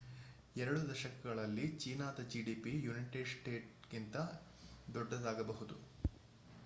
ಎರಡು ದಶಕಗಳಲ್ಲಿ ಚೀನಾದ ಜಿಡಿಪಿ ಯುನೈಟೆಡ್ ಸ್ಟೇಟಿಗಿಂತ ದೊಡ್ಡದಾಗಬಹುದು